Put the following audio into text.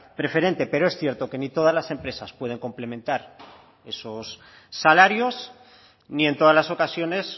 preferente pero es cierto que ni todas las empresas pueden complementar esos salarios ni en todas las ocasiones